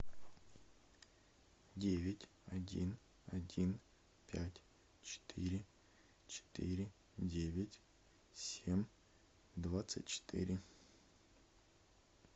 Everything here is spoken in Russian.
девять один один пять четыре четыре девять семь двадцать четыре